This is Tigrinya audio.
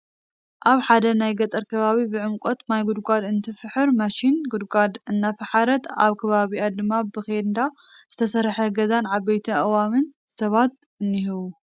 ኣብ ሓደ ናይ ገጠር ከባቢ ብዕምቆት ማይ ጉድጓድ እትፍሕር ማሺን ጉድጓድ እናፋሓረት ኣብ ከባቢኣ ድማ ብኼንዳ ዝተሰርሐ ገዛን ዓበይቲ ኣእዋምን ሰባትን እኒሀዉ::